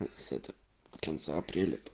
потенциал